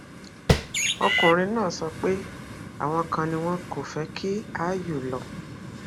ọkùnrin náà sọ pé àwọn kan ni wọn kò fẹ kí áyù lọ